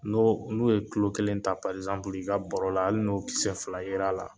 No n'u ye kulo kelen ta i ka bɔrɔ la hali n'o kisɛ fila yera la